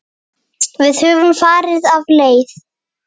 Höfum við farið af leið?